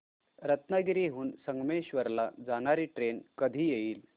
रत्नागिरी हून संगमेश्वर ला जाणारी ट्रेन कधी येईल